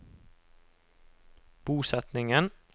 bosetningen